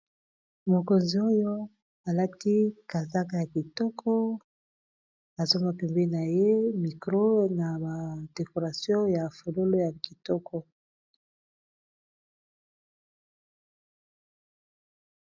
Mokonzi oyo alati kazaka ya kitoko nazo mona pembeni na ye micro na ba decoration ya fololo ya kitoko.